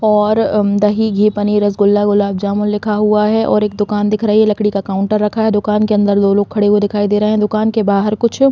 और अम दही घी पनीर रसगुला गुलाबजामुन लिखा हुआ है और एक दुकान दिख रही हैं लकड़ी का काउंटर रखा हुआ है दुकान अंदर दो लोग खड़े दिखाई दे रहे है दुकान के बाहर कुछ-- .